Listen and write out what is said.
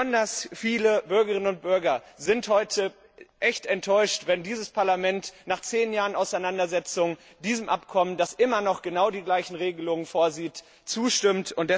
Besonders viele Bürgerinnen und Bürger werden heute echt enttäuscht sein, wenn das Europäische Parlament nach 10 Jahren Auseinandersetzung diesem Abkommen, das immer noch genau die gleichen Regelungen vorsieht, zustimmt.